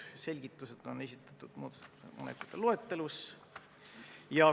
Selgitused on esitatud muudatusettepanekute loetelus.